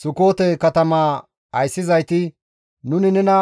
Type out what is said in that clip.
Sukoote katamaa ayssizayti, «Nuni nena